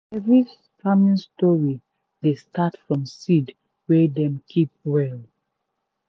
every farming story dey start from seed wey dem keep well.